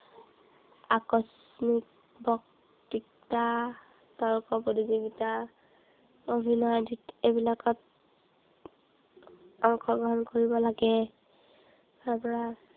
আকস্মিক বক্তৃতা, তৰ্ক প্ৰতিযোগিতা, অভিনয় এই বিলাকত অংশগ্ৰহণ কৰিব লাগে। তাৰপৰা